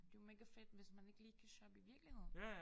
Det jo megafedt hvis man ikke lige kan shoppe i virkeligheden